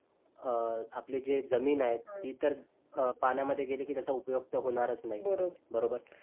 अं आपली जी जमीन आहे ती पण पाण्यामध्ये गेली तर त्याचा उपयोग तर होणारच नाही.